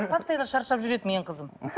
постоянно шаршап жүреді менің қызым